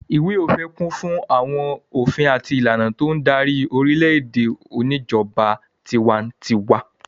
Ìwé-òfin kún fún àwọn òfin àti ìlànà tó ń darí orílẹ̀-èdè oníjọba tiwantiwa.